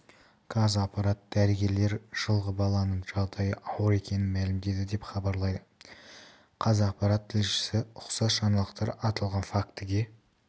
қазақпарат дәрігерлер жылғы баланың жағдайы ауыр екенін мәлімдеді деп хабарлайды қазақпарат тілшісі ұқсас жаңалықтар аталған фактіге